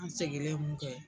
Segilen mun kɛ